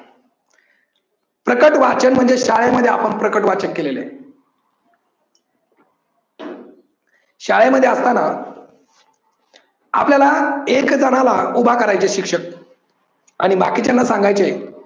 प्रकट वाचन म्हणजे शाळेमध्ये आपण प्रकट वाचन केलेलय. शाळेमध्ये असतांना आपल्याला एक जनाला उभा करायचे शिक्षक आणि बाकीच्यांना सांगायचे